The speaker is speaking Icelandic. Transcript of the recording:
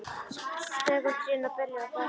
Skekur trén og beljar á grasinu.